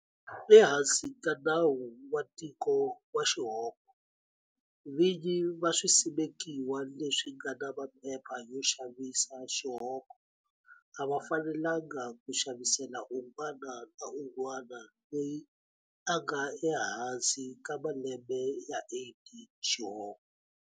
Ehansi ka Nawu wa Tiko wa Xihoko, vinyi va swisimekiwa leswi nga na maphepha yo xavisa xihoko a va fanelanga ku xavisela un'wana na un'wana loyi a nga ehansi ka malembe ya 18 xihoko.